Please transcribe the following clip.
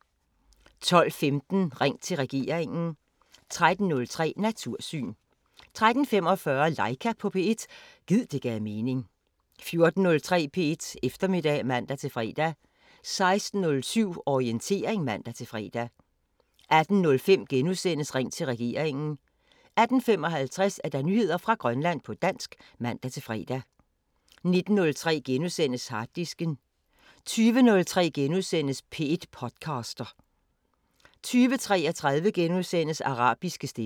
12:15: Ring til regeringen 13:03: Natursyn 13:45: Laika på P1 – gid det gav mening 14:03: P1 Eftermiddag (man-fre) 16:07: Orientering (man-fre) 18:05: Ring til regeringen * 18:55: Nyheder fra Grønland på dansk (man-fre) 19:03: Harddisken * 20:03: P1 podcaster * 20:33: Arabiske stemmer *